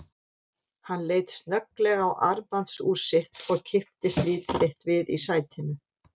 Hann leit snögglega á armbandsúr sitt og kipptist lítið eitt við í sætinu.